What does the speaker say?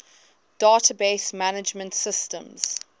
database management systems